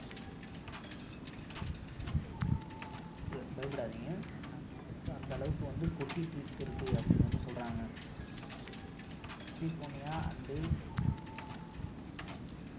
கம்மி இல்லை ரொம்ப பயப்படாதீங்க மழை வந்து அந்த அளவுக்கு வந்து கொட்டி தீர்த்திருக்குன்னு அப்படின்னு வந்து சொல்றாங்க so இந்த கலிபோர்னியா and ஆஹ்